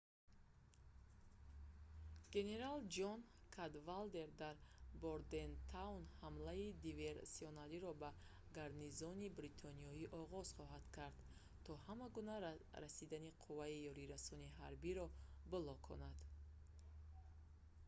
генерал ҷон кадвалдер дар бордентаун ҳамлаи диверсиониро ба гарнизони бритониё оғоз хоҳад кард то ҳама гуна расидани қувваи ёрирасони ҳарбиро блоконад